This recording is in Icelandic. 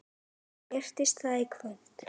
Breytist það í kvöld?